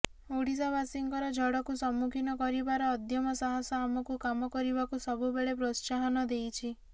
ଓଡ଼ିଶାବାସୀଙ୍କର ଝଡ଼କୁ ସମ୍ମୁଖୀନ କରିବାର ଅଦମ୍ୟ ସାହସ ଆମକୁ କାମ କରିବାକୁ ସବୁବେଳେ ପ୍ରୋତ୍ସାହନ ଦେଇଛି